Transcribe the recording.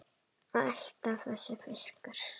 Alltaf þessi fiskur.